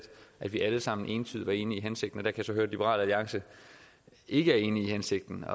at vi alle sammen entydigt var enige i hensigten men jeg kan så høre at liberal alliance ikke er enige i hensigten